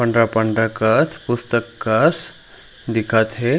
Andre पंडरा कस पुस्तक कस दिखत हे।